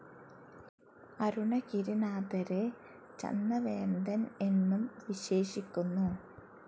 അരുണഗിരിനാഥരെ ചന്ദവേന്തൻ എന്നും വിശേഷിക്കുന്നു.